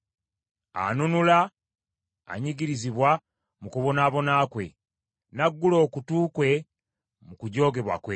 Anunula anyigirizibwa mu kubonaabona kwe, n’aggula okutu kwe mu kujoogebwa kwe.